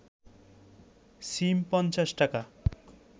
সিম ৫০ টাকা